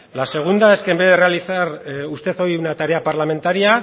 la segunda es que en vez de realizar usted hoy una tarea parlamentaria